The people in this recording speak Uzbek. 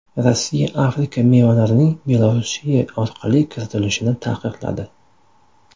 Rossiya Afrika mevalarining Belorussiya orqali kiritilishini taqiqladi.